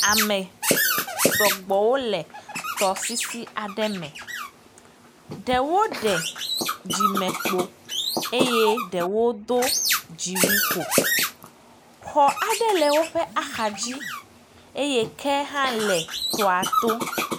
Amesɔgbɔ wole tɔsisi aɖe me. Ɖewo ɖe dzime kpo eye ɖewo do dziwui ko. Xɔ aɖe le woƒe axa dzi eye ke hã le tɔa to.